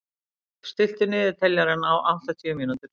Hlíf, stilltu niðurteljara á áttatíu mínútur.